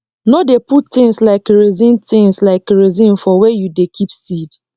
no dey put things like kerosene things like kerosene for wer you dey keep seed